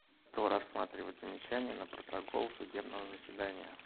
кто рассматривает замечания на протокол судебного заседания